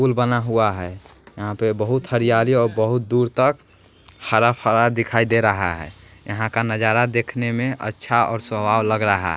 पुल बना हुआ है यहां पे बहुत हरियाली और बहुत दूर तक हरा भरा दिखाई दे रहा है यहां का नजारा देखने में अच्छा और स्वभाव लग रहा--